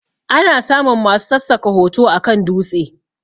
Ana samun masu sassaka hoto akan dutse